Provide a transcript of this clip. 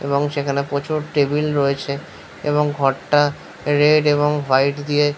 এবং সেখানে প্রচুর টেবিল রয়েছে। এবং ঘরটা রেড এবং হোয়াইট দিয়ে।